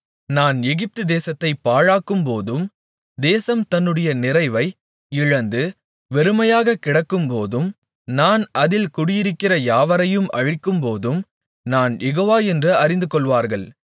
நான் எகிப்துதேசத்தைப் பாழாக்கும்போதும் தேசம் தன்னுடைய நிறைவை இழந்து வெறுமையாகக் கிடக்கும்போதும் நான் அதில் குடியிருக்கிற யாவரையும் அழிக்கும்போதும் நான் யெகோவா என்று அறிந்துகொள்வார்கள்